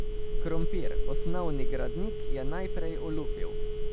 Krompir, osnovni gradnik, je najprej olupil.